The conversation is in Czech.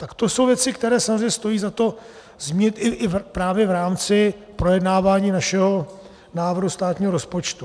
Tak to jsou věci, které samozřejmě stojí za to zmínit i právě v rámci projednávání našeho návrhu státního rozpočtu.